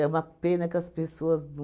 uma pena que as pessoas não...